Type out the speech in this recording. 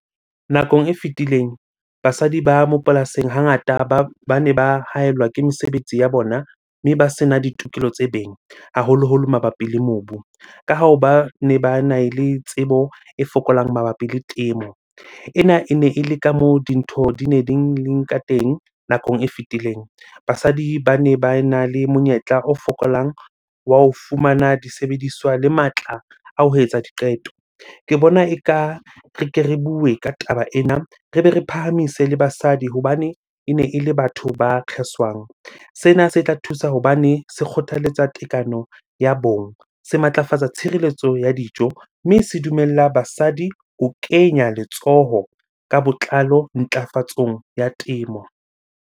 Nakong e fetileng basadi ba mo polasing hangata bane ba haellwa ke mesebetsi ya bona, mme ba sena ditokelo tse beng haholoholo mabapi le mobu. Ka hoo bane bana le tsebo e fokolang mabapi le temo. Ena ene ele ka moo dintho di ne di teng nakong e fetileng. Basadi bane ba ena le monyetla o fokolang wa ho fumana disebediswa le matla a ho etsa diqeto. Ke bona eka re ke re bue ka taba ena, re be re phahamise le basadi hobane ene ele batho ba kgeswang. Sena se tla thusa hobane se kgothaletsa tekano ya bong, se matlafatsa tshireletso ya dijo, mme se dumella basadi ho kenya letsoho ka botlalo ntlafatsong ya temo.